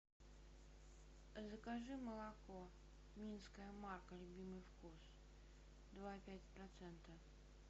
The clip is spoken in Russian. закажи молоко минская марка любимый вкус два и пять процента